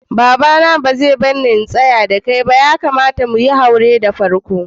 Baba na ba zai barni na tsaya da kai ba ,ya kamata muyi haure da farko.